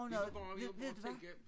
Vi kan bare vi må bare tænke